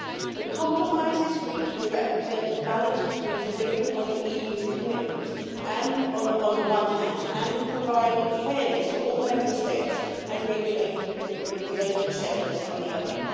The compromises reached will represent a balance between delivering on the EU's commitments on the one hand, and providing fairness for all Member States and regulating the regulated sectors on the other.